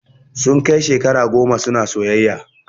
Sun kai shekara goma suna soyayya